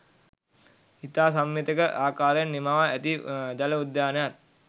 ඉතා සමමිතික ආකාරයෙන් නිමවා ඇති ජල උද්‍යානයත්